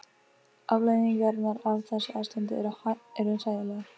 Afleiðingarnar af þessu ástandi eru hræðilegar.